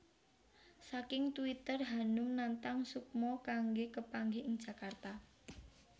Saking twitter Hanum nantang Sukmo kanggé kapanggih ing Jakarta